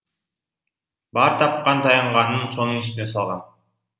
бар тапқан таянғанын соның үстіне салған